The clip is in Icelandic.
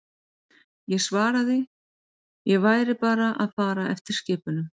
Ég svaraði ég væri bara að fara eftir skipunum.